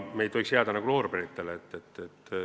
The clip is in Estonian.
Me ei tohiks jääda loorberitele puhkama.